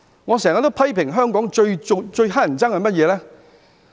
我經常批評香港最討厭的是甚麼呢？